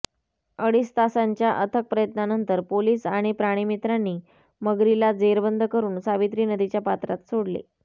अडीच तासांच्या अथक प्रयत्नानंतर पोलिस आणि प्राणीमित्रांनी मगरीला जेरबंद करून सावित्री नदीच्या पात्रात सोडले